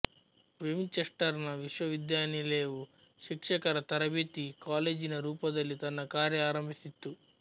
Winchester ನ ವಿಶ್ವವಿದ್ಯಾನಿಲಯವು ಶಿಕ್ಷಕರ ತರಬೇತಿ ಕಾಲೇಜಿನ ರೂಪದಲ್ಲಿ ತನ್ನ ಕಾರ್ಯ ಆರಂಭಿಸಿತ್ತು